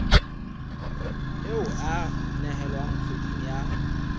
e a nehelwa kgweding ya